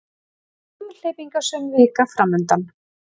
Umhleypingasöm vika framundan